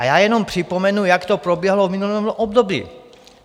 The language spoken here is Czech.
A já jenom připomenu, jak to proběhlo v minulém období.